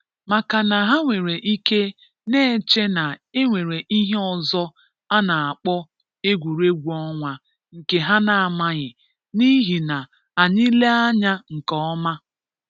Maka na ha nwere ike na-eche na e nwere ihe ọzọ a na-akpọ egwuregwu ọnwa nke ha na-amaghị n’ihi na anyị lee anya nke ọma